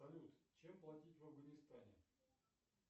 салют чем платить в авганистане